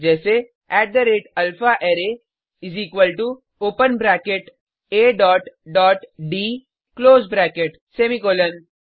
जैसे alphaArray open bracket A dot dot D close bracket semicolon